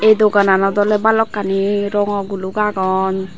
dogananot awle balokkani rongo guluk agon.